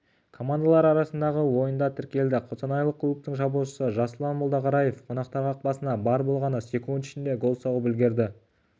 командалары арасындағы ойында тіркелді қостанайлық клубтың шабуылшысы жасұлан молдақараев қонақтар қақпасына бар болғаны секунд ішінде гол соғып үлгерді